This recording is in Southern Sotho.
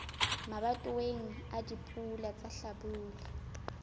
mabatoweng a dipula tsa hlabula